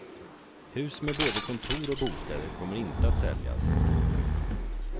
Hus med både kontor och bostäder kommer inte att säljas.